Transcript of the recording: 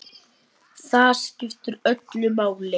Það skiptir öllu máli.